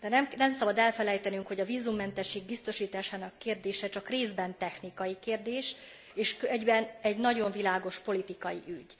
de nem szabad elfelejtenünk, hogy a vízummentesség biztosításának kérdése csak részben technikai kérdés és egyben egy nagyon világos politikai ügy.